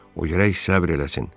O gərək səbr eləsin.